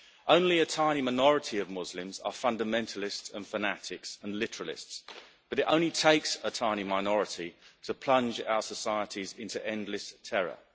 Only a tiny minority of Muslims are fundamentalists and fanatics and literalists, but it only takes a tiny minority to plunge our societies into endless terror.